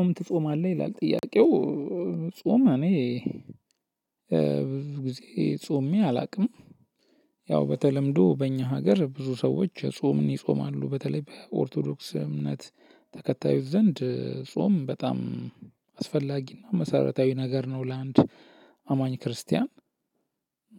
ጾም ትጾማለህ? ይላል ጥያቄው ጾም እኔ ብዙ ጊዜ ጾሜ አላውቅም። ያው በተለምዶ በእኛ ሀገር ብዙ ሰዎች ጾምን ይጾማሉ በተለይ በኦርቶዶክስ እምነት ተከታዩ ዘንድ ጾም በጣም አስፈላጊና መሰረታዊ ነገር ነው። ለአንድ አማኝ ክርስቲያን